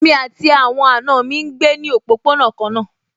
Èmi àti àwọn àna mi náà ń gbé ní òpópónà kan náà